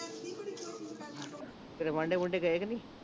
ਕਿਤੇ ਵਾਂਢੇ ਵੂਢੇ ਗਏ ਕੀ ਨਹੀਂ